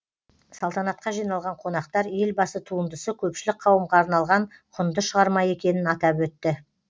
салтанатқа жиналған қонақтар елбасы туындысы көпшілік қауымға арналған құнды шығарма екенін атап өтті